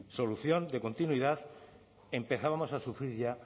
solución de continuidad empezábamos a sufrir ya